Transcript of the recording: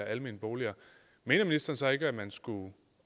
almene boliger mener ministeren så ikke at man